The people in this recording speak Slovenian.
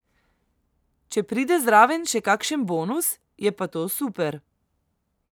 Če pride zraven še kakšen bonus, je pa to super.